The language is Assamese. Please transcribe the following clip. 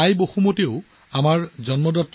পৃথিৱীয়েও আমাৰ মাতৃৰ দৰে যত্ন লয়